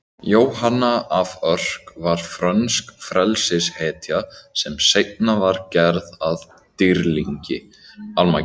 Jóhanna af Örk var frönsk frelsishetja sem seinna var gerð að dýrlingi.